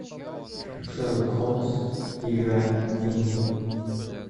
шерлок холмс игра теней